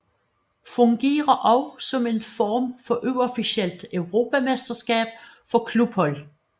Fungerer også som en form for uofficielt europamesterskab for klubhold